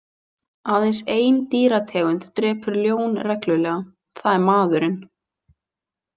Aðeins ein dýrategund drepur ljón reglulega, það er maðurinn.